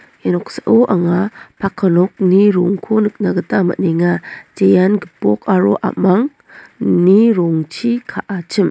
ia noksao anga paka nokni rongko nikna gita man·enga jean gipok aro a·mangni rongchi ka·achim.